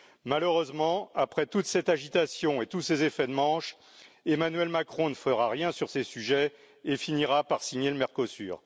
Malheureusement, après toute cette agitation et tous ces effets de manche, Emmanuel Macron ne fera rien sur ces sujets et finira par signer le Mercosur.